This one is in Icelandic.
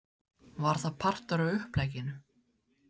Var það partur af upplegginu?